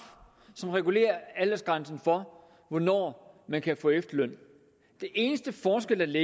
som regulerer aldersgrænsen for hvornår man kan få efterløn den eneste forskel